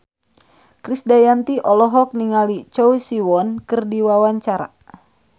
Krisdayanti olohok ningali Choi Siwon keur diwawancara